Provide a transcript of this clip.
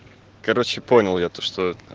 короче понял я то что